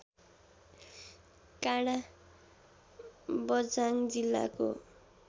काडाँ बझाङ जिल्लाको